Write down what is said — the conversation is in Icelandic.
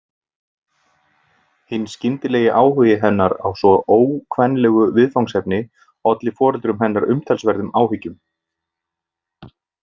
Hinn skyndilegi áhugi hennar á svo ókvenlegu viðfangsefni olli foreldrum hennar umtalsverðum áhyggjum.